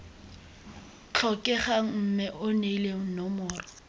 tlhokegang mme o neele nomoro